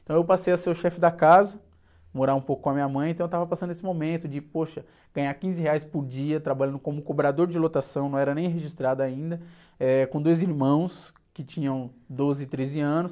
Então eu passei a ser o chefe da casa, morar um pouco com a minha mãe, então eu estava passando esse momento de, poxa, ganhar quinze reais por dia, trabalhando como cobrador de lotação, não era nem registrado ainda, eh, com dois irmãos que tinham doze e treze anos.